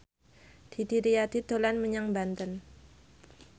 Didi Riyadi dolan menyang Banten